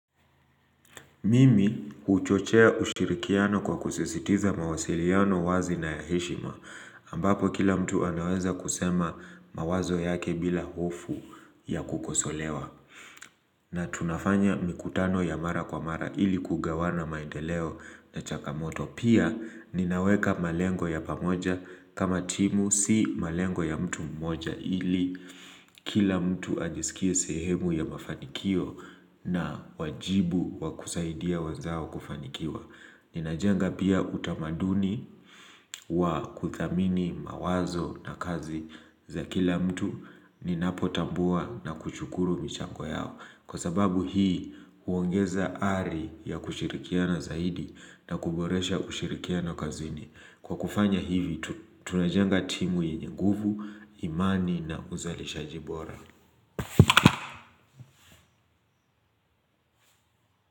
Mimi huchochea ushirikiano kwa kusisitiza mawasiliano wazi na ya heshima ambapo kila mtu anaweza kusema mawazo yake bila hofu ya kukosolewa na tunafanya mikutano ya mara kwa mara ili kugawana maendeleo na changamoto. Pia ninaweka malengo ya pamoja kama timu si malengo ya mtu mmoja ili kila mtu ajisikie sehemu ya mafanikio na wajibu wa kusaidia wenzao kufanikiwa. Ninajenga pia utamaduni wa kuthamini mawazo na kazi za kila mtu ninapotambua na kushukuru michango yao. Kwa sababu hii huongeza ari ya kushirikiana zaidi na kuboresha kushirikiana kazini. Kwa kufanya hivi tunajenga timu yenye nguvu, imani na uzalishaji bora.